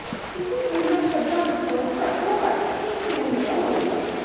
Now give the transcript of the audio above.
ਤੁਸੀਂ ਇਨ੍ਹਾਂ ਸ਼ਬਦਾਂ ਵਿੱਚੋਂ ਘੱਟੋ ਘੱਟ ਇੱਕ ਸੁਣ ਲਿਆ ਹੋਵੇਗਾ